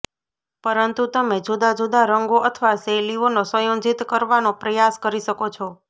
પરંતુ તમે જુદા જુદા રંગો અથવા શૈલીઓનો સંયોજિત કરવાનો પ્રયાસ કરી શકો છો